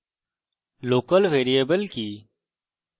local variable কি